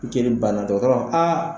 Jeli banna dɔgɔtɔrɔ b'a fɔ aa